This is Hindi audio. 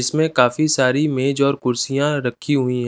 इसमें काफी सारी मेज और कुर्सियाँ रखी हुई--